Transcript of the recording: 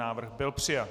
Návrh byl přijat.